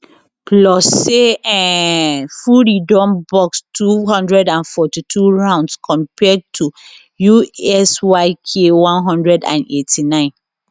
plus say um fury don box 242 rounds compared to usyk 189